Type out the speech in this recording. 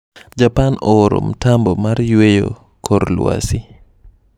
Japan ooro mtambo mar yweyo kor lwasi.